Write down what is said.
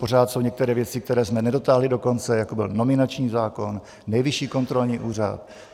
Pořád jsou nějaké věci, které jsme nedotáhli do konce, jako byl nominační zákon, Nejvyšší kontrolní úřad.